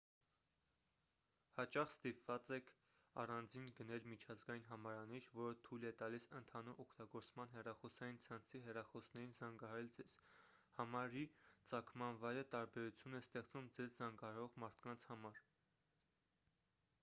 հաճախ ստիպված եք առանձին գնել միջազգային համարանիշ որը թույլ է տալիս ընդհանուր օգտագործման հեռախոսային ցանցի հեռախոսներին զանգահարել ձեզ համարի ծագման վայրը տարբերություն է ստեղծում ձեզ զանգահարող մարդկանց համար